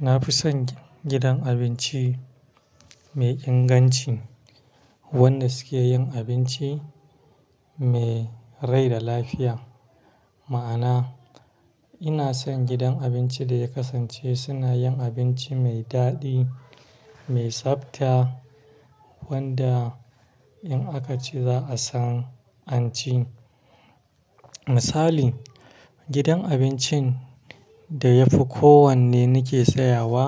Na fi son gidan abinci mai inganci wanda suke yin abinci mai rai da lafiya. Ma'ana, ina son gidan abinci da ya kasance suna yin abinci mai daɗi, mai tsabta wanda in aka ci za'a san an ci. Misali, gidan abincin da ya fi kowanne nake tsayawa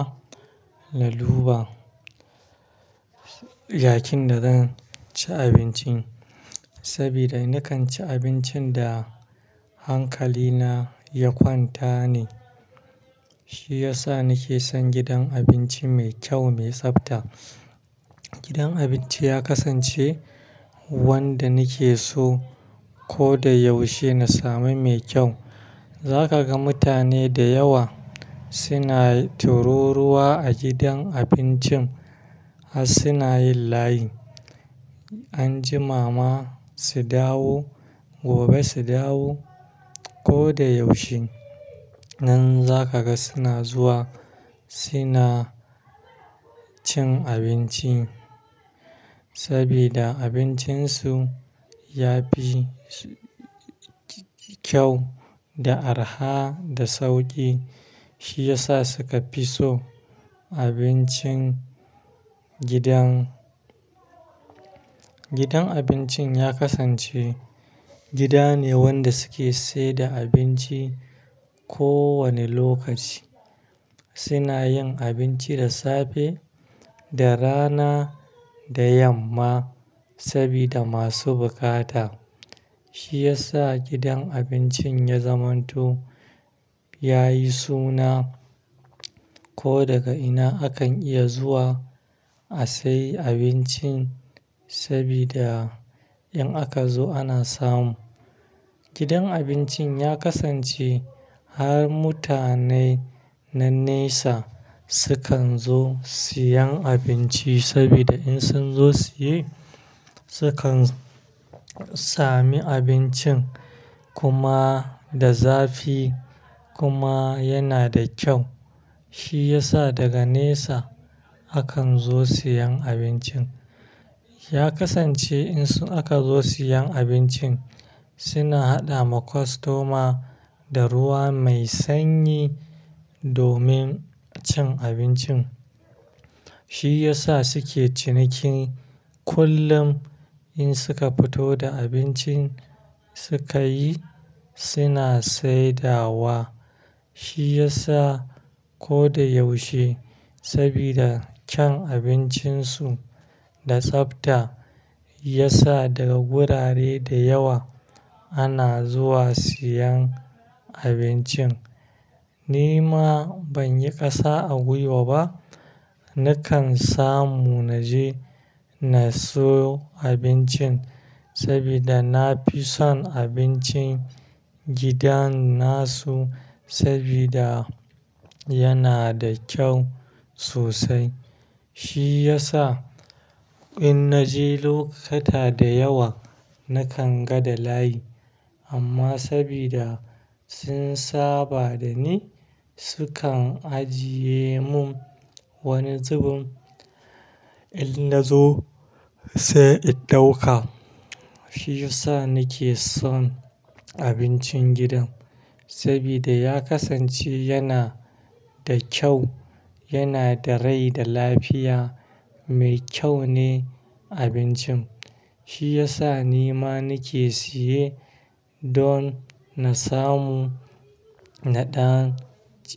na duba, yayin da zan ci abincin. Saboda nakan ci abincin da hankali na ya kwanta ne, shi yasa nake son gidan abinci mai kyau mai tsafta. Gidan abinci ya kasance wanda nake so ko da yaushe na sami mai kyau. Za ka ga mutane da yawa suna tururuwa a gidan abincin har suna yin layi. Anjima ma su dawo, gobe su dawo ko da yaushe. Nan za ka ga suna zuwa suna cin abinci saboda abincin su ya fi kyau da arha da sauki. Shi yasa suka fi so abincin gidan. Gidan abincin ya kasance gida ne wanda suke sayar da abinci ko wane lokaci. Suna yin abinci da safe, da rana, da yamma saboda masu bukata. Shi yasa gidan abincin ya zamanto, ya yi suna ko daga ina akan iya zuwa a sayi abincin saboda in aka zo ana samu. Gidan abincin ya kasance har mutane na nesa sukan zo siyan abinci saboda in sun zo sa ye, sukan sami abincin kuma da zafi kuma yana da kyau. Shi yasa daga nesa akan zo siyan abincin. Ya kasance in aka zo siyan abincin suna haɗa ma kostoma da ruwa mai sanyi domin cin abincin. Shi yasa suke ciniki kullum in suka fito da abincin suka yi, suna saida wa. Shi yasa ko da yaushe saboda kyan abincin su da tsafta ya sa daga gurare da yawa ana zuwa siyan abincin. Ni ma ban yi ƙasa a gwiwa ba. Nakan samu na je na siyo abincin saboda na fi son abincin gidan nasu saboda yana da kyau sosai. Shi yasa inna je lokuta da yawa nakan ga da layi. Amma saboda sun saba da ni sukan ajiye mun wani zubun in na zo sai in ɗauka. Shi yasa nake son abincin gidan saboda ya kasance yana da kyau, yana da rai da lafiya, mai kyau ne abincin. Shi yasa ni ma nake siye don na samu, na dan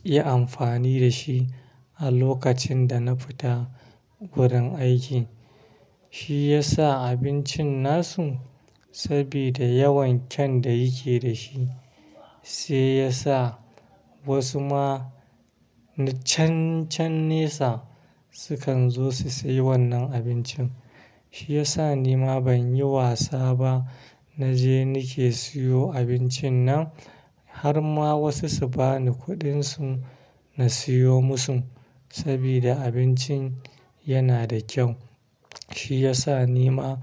iya amfani da shi a lokacin da na fita gurin aiki. Shi yasa abincin nasu saboda yawan kyan da yake da shi, shi yasa wasu ma na can-can nesa sukan zo su sayi wannan abincin. Shi yasa ni ma ban yi wasa ba. Na je nake siyo abincin nan har ma wasu su bani kuɗin su na siyo musu saboda abincin yana da kyau. Shi yasa ni ma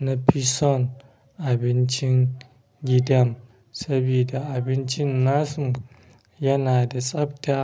na fi son abincin gidan saboda abincin nasu yana da tsafta.